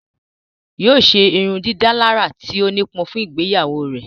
Yóò ṣe ìrundidàlarà tí ó nipọn fun ìgbeyawo rẹ.